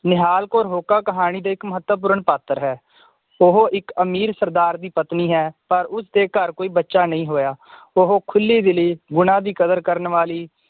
ਨਿਹਾਲ ਕੌਰ ਹੋਕਾ ਕਹਾਣੀ ਦੇ ਇੱਕ ਮਹੱਤਵਪੂਰਨ ਪਾਤਰ ਹੈ ਉਹ ਇਕ ਅਮੀਰ ਸਰਦਾਰ ਦੀ ਪਤਨੀ ਹੈ ਪਰ ਉਸਦੇ ਘਰ ਕੋਈ ਬੱਚਾ ਨਈ ਹੋਇਆ ਉਹ ਖੁੱਲੀ ਦਿਲੀ ਗੁਣਾਂ ਦੀ ਕਦਰ ਕਰਨ ਵਾਲੀ